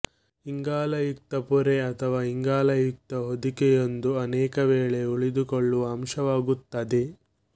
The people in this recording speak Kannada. ಇಂಗಾಲಯುಕ್ತ ಪೊರೆ ಅಥವಾ ಇಂಗಾಲಯುಕ್ತ ಹೊದಿಕೆಯೊಂದು ಅನೇಕವೇಳೆ ಉಳಿದುಕೊಳ್ಳುವ ಅಂಶವಾಗಿರುತ್ತದೆ